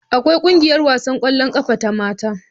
Akwai ƙungiyar wasan ƙwallon ƙafar mata.